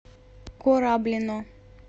кораблино